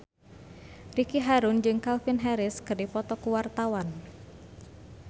Ricky Harun jeung Calvin Harris keur dipoto ku wartawan